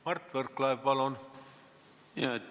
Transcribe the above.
Mart Võrklaev, palun!